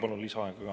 Palun lisaaega ka.